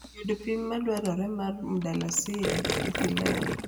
yudo pim ma dwarore mar mdalasini e pilau